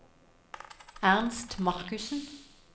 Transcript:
Ernst Markussen